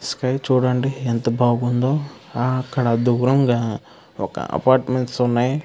Sky చూడండి ఎంత బాగుందో ఆ అక్కడ దూరంగా ఒక అపార్ట్మెంట్స్ ఉన్నాయి.